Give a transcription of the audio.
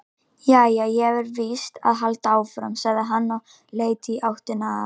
Jæja, ég verð víst að halda áfram, sagði hann og leit í áttina að